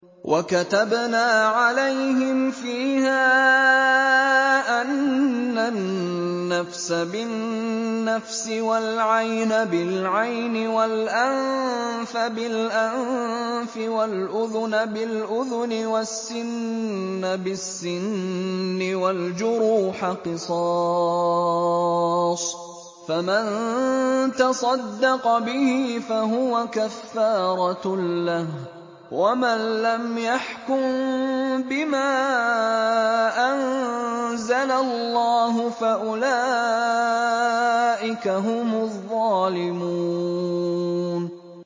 وَكَتَبْنَا عَلَيْهِمْ فِيهَا أَنَّ النَّفْسَ بِالنَّفْسِ وَالْعَيْنَ بِالْعَيْنِ وَالْأَنفَ بِالْأَنفِ وَالْأُذُنَ بِالْأُذُنِ وَالسِّنَّ بِالسِّنِّ وَالْجُرُوحَ قِصَاصٌ ۚ فَمَن تَصَدَّقَ بِهِ فَهُوَ كَفَّارَةٌ لَّهُ ۚ وَمَن لَّمْ يَحْكُم بِمَا أَنزَلَ اللَّهُ فَأُولَٰئِكَ هُمُ الظَّالِمُونَ